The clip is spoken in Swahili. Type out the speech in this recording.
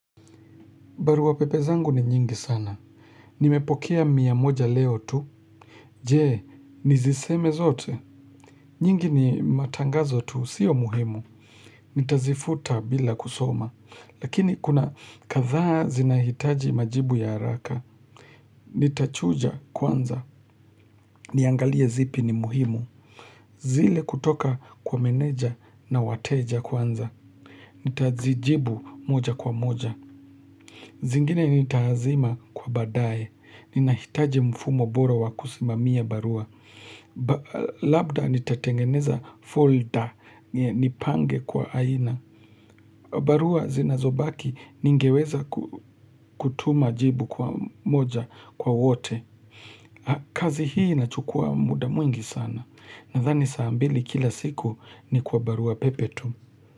Barua pepe zangu ni nyingi sana. Nimepokea mia moja leo tu. Je, niziseme zote. Nyingi ni matangazo tu, sio muhimu. Nitazifuta bila kusoma. Lakini kuna kadhaa zinahitaji majibu ya haraka. Nitachuja kwanza. Niangalie zipi ni muhimu. Zile kutoka kwa meneja na wateja kwanza. Nitazijibu moja kwa moja. Zingine nita azima kwa baadaye. Ninahitaji mfumo bora wa kusimamia barua Labda nitatengeneza folder Nipange kwa aina barua zinazobaki ningeweza kutuma jibu kwa moja kwa wote kazi hii inachukua muda mwingi sana Nadhani saa mbili kila siku ni kwa barua pepe tu.